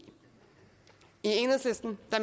enhedslisten